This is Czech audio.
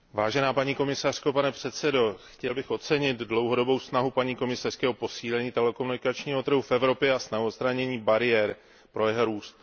Vážená paní komisařko, pane předsedající, chtěl bych ocenit dlouhodobou snahu paní komisařky o posílení telekomunikačního trhu v Evropě a snahu o odstranění bariér pro jeho růst.